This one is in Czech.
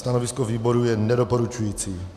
Stanovisko výboru je nedoporučující.